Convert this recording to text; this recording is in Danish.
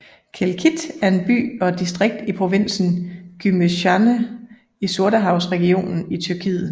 Kelkit er en by og et distrikt i provinsen Gümüşhane i Sortehavsregionen i Tyrkiet